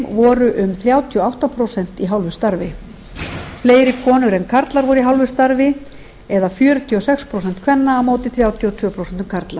voru um þrjátíu og átta prósent í hálfu starfi fleiri konur en karlar voru í hálfu starf eða fjörutíu og sex prósent kvenna á móti þrjátíu og tvö prósent karla